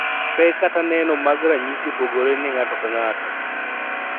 Pek kata neno mag ranyisi opogore ne ng'ato ka ng'ato